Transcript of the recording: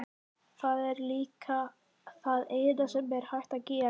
Það er líka það eina sem hægt er að gera.